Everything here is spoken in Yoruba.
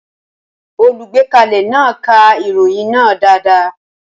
Olùgbékalẹ̀ náà ka ìròyìn náà dáadáa.